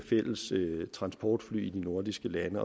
fælles transportfly i de nordiske lande